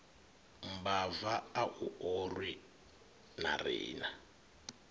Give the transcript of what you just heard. mbava a u orwi narina